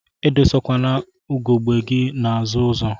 Idosakwana ugegbe gi n'azụ ụzọ.